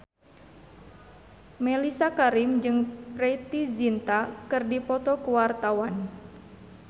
Mellisa Karim jeung Preity Zinta keur dipoto ku wartawan